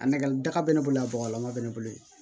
A nɛgɛ daga bɛ ne bolo a bɔgɔlama bɛ ne bolo yen